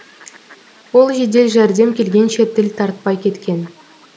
ол жедел жәрдем келгенше тіл тартпай кеткен